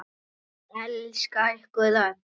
Elska ykkur öll.